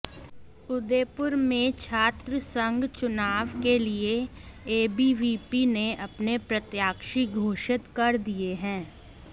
उदयपुर में छात्र संघ चुनाव के लिए एबीवीपी ने अपने प्रत्याशी घोषित कर दिए हैं